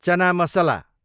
चना मसला